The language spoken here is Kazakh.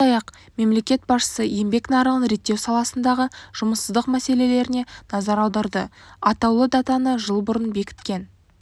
сондай-ақ мемлекет басшысы еңбек нарығын реттеу саласындағы жұмыссыздық мәселелеріне назар аударды атаулы датаны жыл бұрын бекіткен